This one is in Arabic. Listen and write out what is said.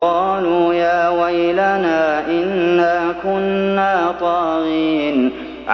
قَالُوا يَا وَيْلَنَا إِنَّا كُنَّا طَاغِينَ